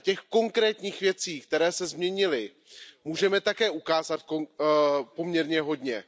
Těch konkrétních věcí, které se změnily, můžeme ukázat také poměrně hodně.